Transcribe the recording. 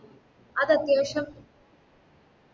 അതത്യാവശ്യാ